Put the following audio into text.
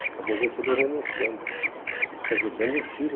Acabou o Getúlio renunciando, quer dizer, dando um tiro.